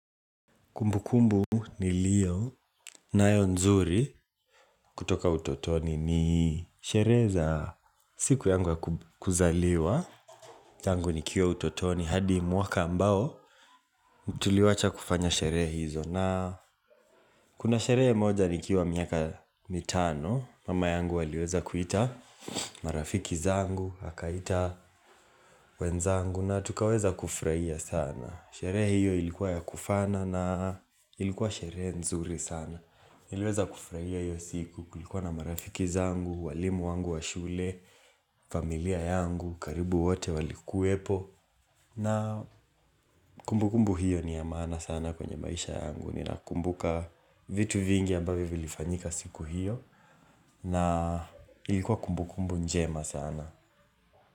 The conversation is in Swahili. Kumbukumbu niliyonayo nzuri kutoka utotoni ni sherehe za siku yangu ya kuzaliwa. Tangu nikiwa utotoni hadi mwaka ambao tuliwacha kufanya sherehe hizo na kuna sherehe moja nikiawa miaka mitano. Mama yangu aliweza kuita marafiki zangu, akaita wenzangu na tukaweza kufurahia sana. Sherehe hiyo ilikuwa ya kufana na ilikuwa sherehe nzuri sana. Niliweza kufurahia hiyo siku kulikuwa na marafiki zangu, walimu wangu wa shule, familia yangu, karibu wote walikuwepo na kumbukumbu hiyo niya maana sana kwenye maisha yangu Ninakumbuka vitu vingi ambavyo vilifanyika siku hiyo na ilikuwa kumbukumbu njema sana.